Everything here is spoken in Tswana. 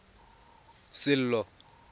sello